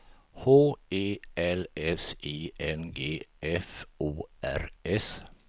H E L S I N G F O R S